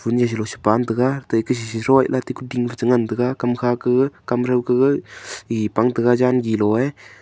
kunyi shilo paun taiga taiku srishi loeih kuting tengan taiga kamkha ka kamtho Kae pang taiga jangi loe.